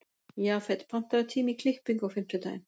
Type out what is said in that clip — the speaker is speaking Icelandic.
Jafet, pantaðu tíma í klippingu á fimmtudaginn.